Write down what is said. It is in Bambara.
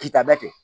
Kita bɛɛ kɛ